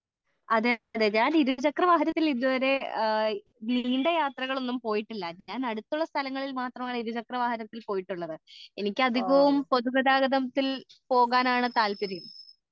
അതേ അതേ ഞാൻ ഇരുചക്ര വാഹനത്തിൽ ഇതുവരെ നീണ്ട യാത്രകൾ ഒന്നും പോയിട്ടില്ല ഞാൻ അടുത്തുള്ള സ്ഥലങ്ങളിൽ മാത്രമേ ഇരുചക്ര വാഹനത്തിൽ പോയിട്ടുള്ളത് എനിക്ക് അതികവും പൊതു ഗതാഗതത്തിൽ പോകാനാണ് താല്പര്യം